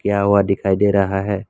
यहां वहां दिखाई दे रहा है।